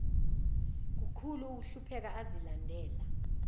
kukhulu ukuhlupheka azilandela